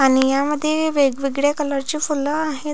आणि ह्यामध्ये वेगवेगळ्या कलर ची फूल आहेत.